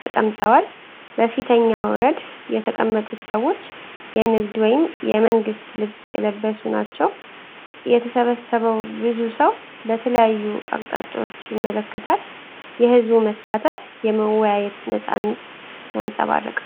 ተቀምጠዋል። በፊተኛው ረድፍ የተቀመጡት ሰዎች የንግድ ወይም የመንግሥት ልብስ የለበሱ ናቸው። የተሰበሰበው ብዙ ሰው በተለያዩ አቅጣጫዎች ይመለከታል። የህዝቡ መሳተፍ የመወያየትን ነፃነት ያንጸባርቃል።